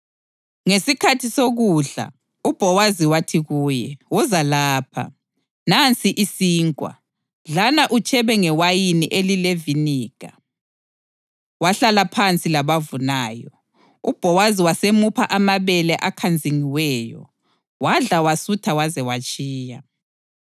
Ngesikhathi sokudla, uBhowazi wathi kuye, “Woza lapha. Nansi isinkwa, dlana utshebe ngewayini elileviniga.” Wahlala phansi labavunayo, uBhowazi wasemupha amabele akhanzingiweyo. Wadla wasutha waze watshiya.